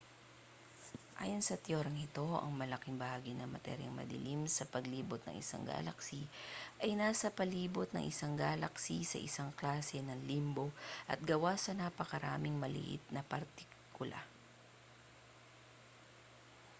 ayon sa teoryang ito ang malaking bahagi ng materyang madilim sa palibot ng isang galaksi ay nasa palibot ng isang galaksi sa isang klase ng limbo at gawa sa napakaraming maliit na partikula